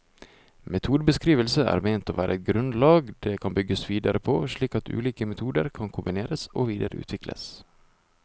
Metodebeskrivelsene er ment å være et grunnlag det kan bygges videre på, slik at ulike metoder kan kombineres og videreutvikles.